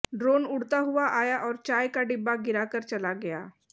drone उड़ता हुआ आया और चाय का डिब्बा गिरा कर चला गया